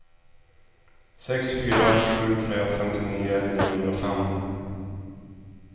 sex fyra sju tre femtionio niohundrafem